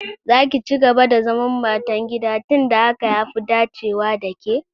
Za ki cigaba da zaman matan gida tun da hakan ya fi dacewa da ke!